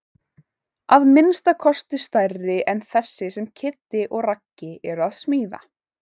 Að minnsta kosti stærri en þessi sem Kiddi og Raggi eru að smíða.